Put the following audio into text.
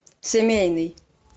семейный